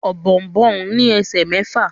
Ọ̀bọ̀ọ̀nbọọ̀n ní esè mẹfa.